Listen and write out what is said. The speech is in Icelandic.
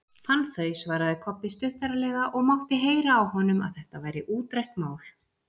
Fann þau, svaraði Kobbi stuttaralega og mátti heyra á honum að þetta væri útrætt mál.